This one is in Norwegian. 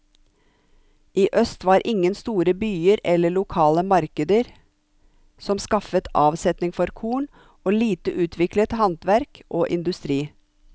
I øst var ingen store byer eller lokale markeder som skaffet avsetning for korn, og lite utviklet handverk og industri.